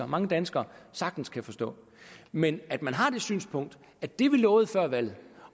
mange danskere sagtens kan forstå men at man har det synspunkt at det man lovede før valget